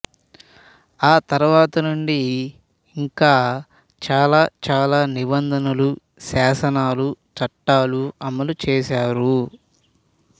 ఆతరువార నుండి ఇంకా చాలా చాలా నిబంధనలు శాసనాలు చట్టాలు అమలు చేశారు